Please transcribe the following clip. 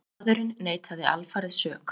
Maðurinn neitaði alfarið sök